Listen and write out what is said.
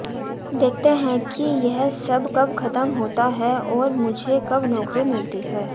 देखते हैं कि यह सब कब खत्म होता है और मुझे कब नौकरी मिलती है